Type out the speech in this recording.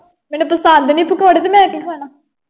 ਮੈਨੂੰ ਪਸੰਦ ਨਹੀਂ ਪਕੌੜੇ ਤੇ ਮੈਂ ਕੀ ਖਾਣਾ।